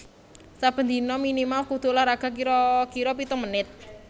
Saben dino minimal kudu olahraga kiro kiro pitung menit